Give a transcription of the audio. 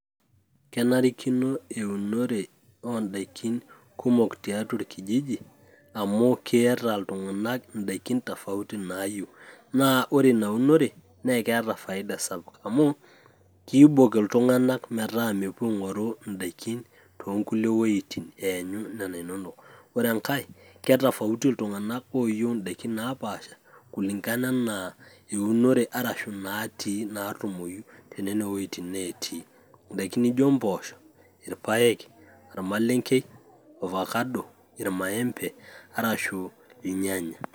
kenarikino eunore oodaikin kumok tiatua orkijiji, amu ore daikin kumok, keeta iltunganak idaikin kumok tofauti naayieu, naa ore ina unore naa keeta faida sapuk amu, kiibok iltung'anak metaa mepuo aing'oru idaikin, too nkulie wuejitin eenyu nena inonok. ore enkae, ketofauti iltunganak ooyieu idaikin napaasha, kulingana anaa eunore arashu idaikin natii, naatumoyu. tenen wuejitin neetii. idaikin naijo mpoosho, irpaek, ormalenkei, orfakado, irmaembe arashu irnyanya.